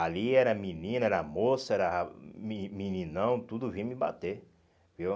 Ali era menina, era moça, era meni meninão, tudo vinha me bater, viu?